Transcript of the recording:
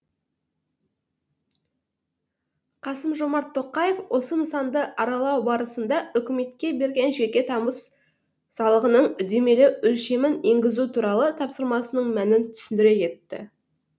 қасым жомарт тоқаев осы нысанды аралау барысында үкіметке берген жеке табыс салығының үдемелі өлшемін енгізу туралы тапсырмасының мәнін түсіндіре кетті